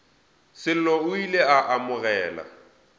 sello o ile a amogela